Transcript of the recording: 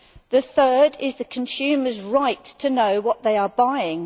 The third is the consumer's right to know what they are buying.